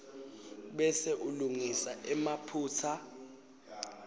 bese ulungisa emaphutsa